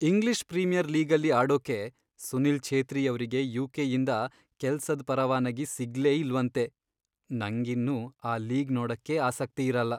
English premier ಲೀಗಲ್ಲಿ ಆಡೋಕೆ ಸುನೀಲ್ ಛೇತ್ರಿಯವ್ರಿಗೆ ಯು.ಕೆ.ಯಿಂದ ಕೆಲ್ಸದ್ ಪರವಾನಗಿ ಸಿಗ್ಲೇ ಇಲ್ವಂತೆ, ನಂಗಿನ್ನು ಆ ಲೀಗ್ ನೋಡಕ್ಕೇ ಆಸಕ್ತಿಯಿರಲ್ಲ.